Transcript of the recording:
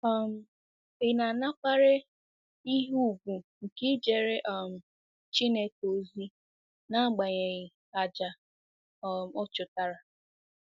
um Ị̀ na-anakwere ihe ùgwù nke ijere um Chineke ozi n'agbanyeghị àjà um ọ chụtara?